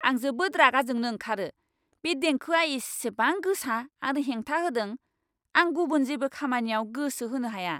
आं जोबोद रागा जोंनो ओंखारो, बे देंखोआ इसेबां गोसा आरो हेंथा होदों! आं गुबुन जेबो खामानियाव गोसो होनो हाया।